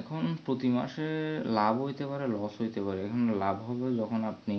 এখুন প্রতি মাসে লাভ হইতে পারে loss হইতে পারে হম লাভ হইবে যখন আপনি